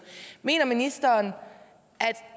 mener ministeren